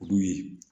Olu ye